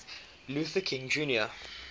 luther king jr